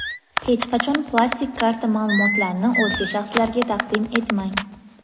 Hech qachon plastik karta ma’lumotlarini o‘zga shaxslarga taqdim etmang!.